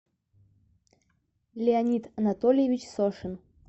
леонид анатольевич сошин